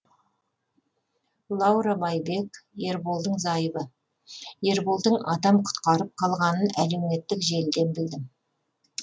лаура байбек ерболдың зайыбы ерболдың адам құтқарып қалғанын әлеуметтік желіден білдім